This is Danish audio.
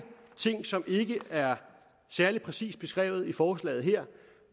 ting som ikke er særlig præcist beskrevet i forslaget her